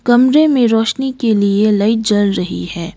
कमरे में रोशनी के लिए लाइट जल रही है।